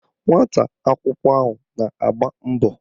Nwata akwụkwọ ahụ na-agba mbọ